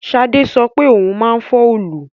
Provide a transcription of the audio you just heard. Sade sọ pé òun máa fọ́ òòlù